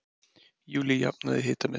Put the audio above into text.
Júlí jafnaði hitametið